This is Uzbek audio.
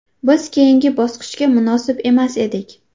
Biz keyingi bosqichga munosib emas edik.